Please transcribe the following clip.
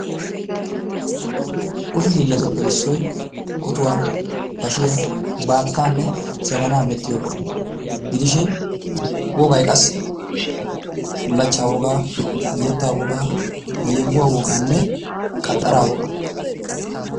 Kushee hilatuppe issoyi otuwaa, bashiyaa, battaanne jabanaa merhiyogas gidishin woggay qassi bulachchaa wogaa, yettaa wogaa, yehuwaa woganne qaxaraa wogaa.